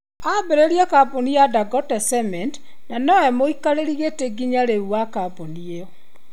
Ambĩrĩirie kambuni ya Dangote Cement na nowe mũikarĩri gĩtĩ nginya rĩu wa kambuni ĩyo.